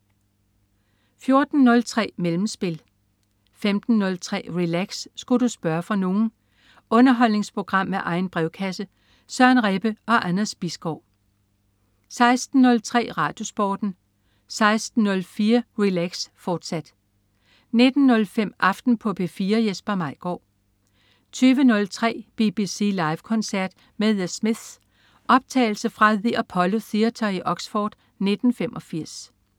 14.03 Mellemspil 15.03 Relax. Sku' du spørge fra nogen? Underholdningsprogram med egen brevkasse. Søren Rebbe og Anders Bisgaard 16.03 RadioSporten 16.04 Relax. Sku' du spørge fra nogen?, fortsat 19.05 Aften på P4. Jesper Maigaard 20.03 BBC Live-koncert med The Smiths. Optagelse fra The Apollo Theatre i Oxford i 1985